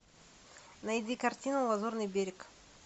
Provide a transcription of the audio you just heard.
найди картину лазурный берег